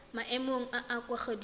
maemong a a kwa godimo